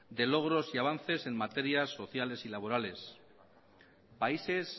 de logros y avances en materias sociales y laborales países